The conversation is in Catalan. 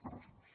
gràcies